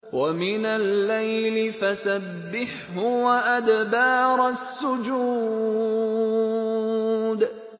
وَمِنَ اللَّيْلِ فَسَبِّحْهُ وَأَدْبَارَ السُّجُودِ